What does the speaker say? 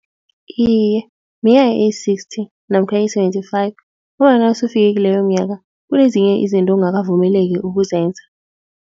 Iye minyaka eyi-sixty namkha eyi-seventy-five ngombana nasufike kileyo minyaka kunezinye izinto ongakavumeleki ukuzenza.